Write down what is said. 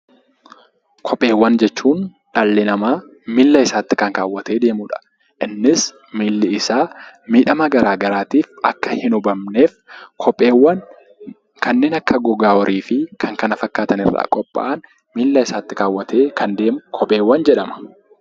Kopheewwan jechuun dhalli namaa miila isaatti kan kaawwatee deemudha. Innis miilli isaa miidhama garaa garaatiif akka hin hubamneefidha. Kopheewwan kanneen akka gogaa horii fi kan kana fakkaatan irraa qophaa'an miila isaatti kaawwatee kan deemu yoo ta'u, kopheewwan jedhamuunis beekamu.